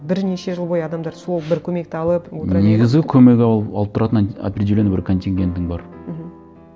бірнеше жыл бойы адамдар сол бір көмекті алып отыра береді ме негізі көмек алып тұратын определенный бір контингентің бар мхм